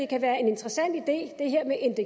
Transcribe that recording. kan være en interessant idé det